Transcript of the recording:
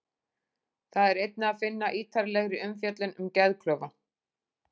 Þar er einnig að finna ítarlegri umfjöllun um geðklofa.